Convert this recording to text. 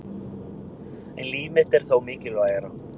En líf mitt er þó mikilvægara